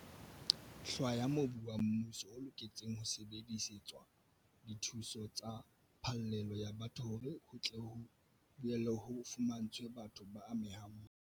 hlwaya mobu wa mmuso o loketseng ho sebedisetswa dithuso tsa phallelo ya batho hore ho tle ho boele ho fumantshwe batho ba amehang mahae.